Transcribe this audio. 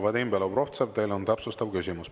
Vadim Belobrovtsev, teil on täpsustav küsimus.